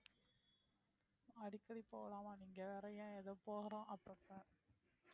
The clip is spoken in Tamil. அடிக்கடி போலாமா நீங்க வேற ஏன் ஏதோ போறோம் அப்புறம்தான்